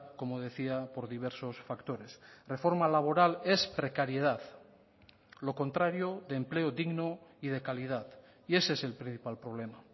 como decía por diversos factores reforma laboral es precariedad lo contrario de empleo digno y de calidad y ese es el principal problema